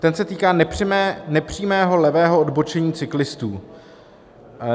Ten se týká nepřímého levého odbočení cyklistů.